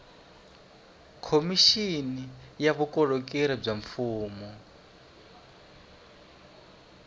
khomixini ya vukorhokeri bya mfumo